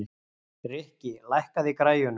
Rikki, lækkaðu í græjunum.